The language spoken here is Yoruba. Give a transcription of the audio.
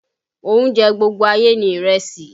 Oúnjẹ gbogbo ayé ni ìrẹsì